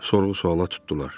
Sorğu-sualla tutdular.